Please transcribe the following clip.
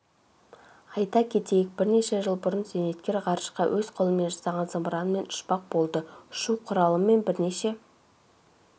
айта кетейік бірнеше жыл бұрын зейнеткер ғарышқа өз қолымен жасаған зымыранымен ұшпақ болды ұшу құралымен бірнеше